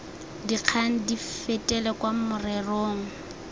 dikgang di fetele kwa morerong